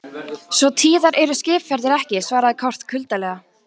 Svo tíðar eru skipaferðir ekki, svaraði Kort kuldalega.